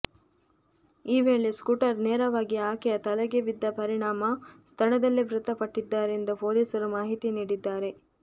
ಈ ವೇಳೆ ಸ್ಕೂಟರ್ ನೇರವಾಗಿ ಆಕೆಯ ತಲೆಗೆ ಬಿದ್ದ ಪರಿಣಾಮ ಸ್ಥಳದಲ್ಲೇ ಮೃತ ಪಟ್ಟಿದ್ದಾರೆಂದು ಪೊಲೀಸರು ಮಾಹಿತಿ ನೀಡಿದ್ದಾರೆ